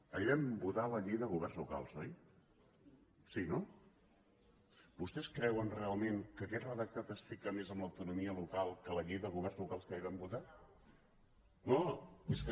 ahir vam votar la llei de governs lo cals oi sí no vostès creuen realment que a quest redactat es fica més amb l’autonomia local que la llei de governs locals que ahir vam votar no és que